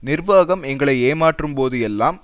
நிர்வாகம் எங்களை ஏமாற்றும் போது எல்லாம்